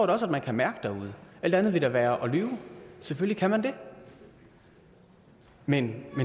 da også at man kan mærke derude alt andet ville da være at lyve selvfølgelig kan man det men